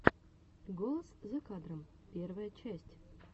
голос за кадром первая часть